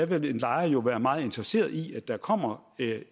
vil en lejer jo være meget interesseret i at der kommer